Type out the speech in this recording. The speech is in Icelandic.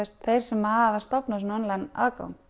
þeir sem hafa stofnað svona online aðgang